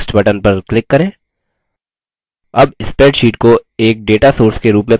अब spreadsheet को एक data source के रूप में पंजीकृत करते हैं